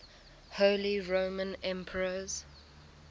holy roman emperors